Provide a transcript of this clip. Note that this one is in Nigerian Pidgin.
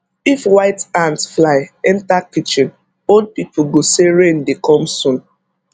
if white ant fly enter kitchen old people go say rain dey come soon